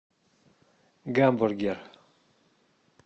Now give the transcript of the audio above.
гамбургер